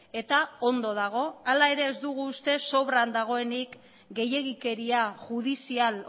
eta ondo dago hala ere ez dugu uste sobran dagoenik gehiegikeria judizial